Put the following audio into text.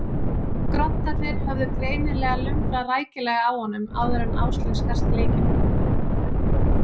Groddarnir höfðu greinilega lumbrað rækilega á honum áður en Áslaug skarst í leikinn.